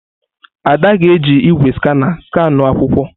Ada ga-eji igwé skana skanuo akwụkwọ.